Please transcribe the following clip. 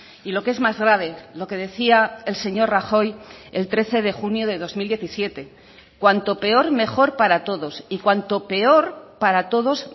y lo que es más grave lo que decía el señor rajoy el trece de junio de dos mil diecisiete cuanto peor mejor para todos y cuanto peor para todos